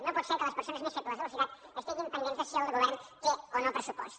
no pot ser que les persones més febles de la societat estiguin pendents de si el govern té o no pressupost